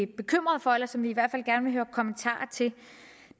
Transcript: bekymrede for eller som vi i hvert fald gerne vil høre kommentarer til